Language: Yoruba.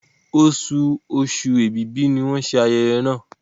Osù Oṣù Ẹ̀bìbì ní wón ṣe ayẹyẹ yén.